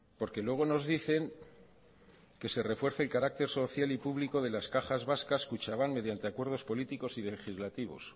porque luego nos dicen que se refuerce el carácter social y público de las cajas vascas kutxabank mediante acuerdos políticos y legislativos